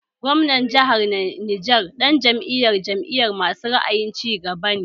Gwamnan jahar Neja ɗan Jam'iyar jam'iya masu ra'ayin cigaba ne